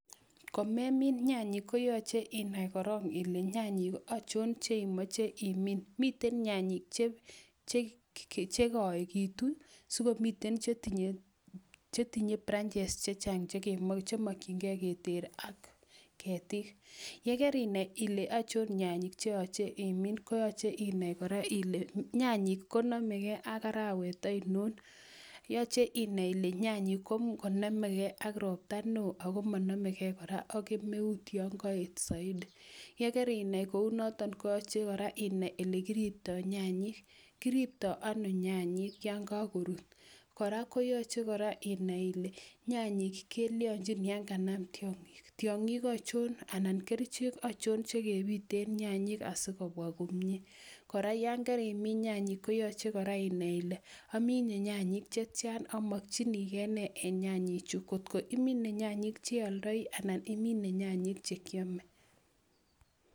Komemin nyanyik koyoche inai korong ile nyanyik achon cheimoche imin. Miten nyanyik che koegitu, sikomi chetinye branches chechang chemokinge keter ak ketik. Ye kerinai ile achon nyanyik che yoche imin koyoche inai kora ile nyanyik konomege ak arawet oinon. Yoche inai ile nyanyik komonomegei ak ropta neo ago monomegei kora ak kemeut yon koet soiti. Ye kerinai kounoto koyoche kora inai olekiripto nyanyik. Kiripto ano nyanyik yon kagorut? Kora koyoche inai kole nyanyik kelyonjin yan kanam tiong'ik. Tiong'ik achon anan kerichek achon che kebiten nyanyik asi kobwa komye? Kora yon kerimin nyanyik koyoche kora inai ile omine nyanyik che tian amokinige nee en nyanyiju? Kotko imine nyanyik che oldoi anan imine nyanyik che kyome.